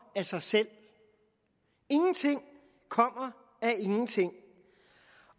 af sig selv ingenting kommer af ingenting